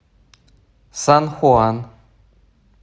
сан хуан